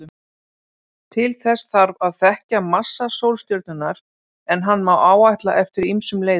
Til þess þarf að þekkja massa sólstjörnunnar, en hann má áætla eftir ýmsum leiðum.